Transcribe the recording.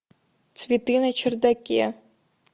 цветы на чердаке